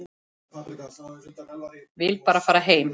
Vill bara fara heim.